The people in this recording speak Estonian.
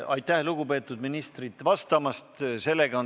Aitäh, lugupeetud ministrid, vastamast!